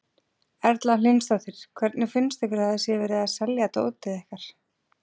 Erla Hlynsdóttir: Hvernig finnst ykkur að það sé verið að selja dótið ykkar?